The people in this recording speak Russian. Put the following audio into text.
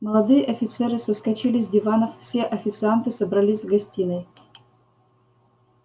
молодые офицеры соскочили с диванов все официанты собрались в гостиной